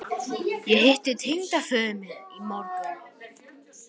Ég hitti tengdaföður minn í morgun